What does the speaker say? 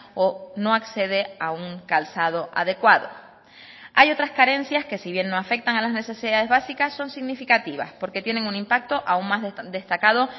o no accede a un calzado adecuado hay otras carencias que si bien no afectan a las necesidades básicas son significativas porque tienen un impacto aún más destacado